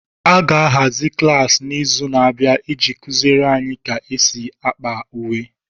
A ga-ahazi klaasị n'izu na-abịa iji kuziere anyị ka e si ákpà uwe.